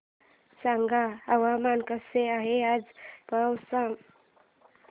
सांगा हवामान कसे आहे आज पावस चे